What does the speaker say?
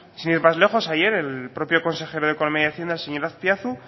sin ir más lejos ayer el propio consejero de economía y hacienda el señor azpiazu